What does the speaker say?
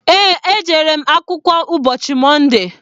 Eé, ejere m akwụkwọ ụbọchị Mọnde.